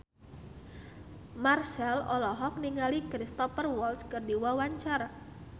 Marchell olohok ningali Cristhoper Waltz keur diwawancara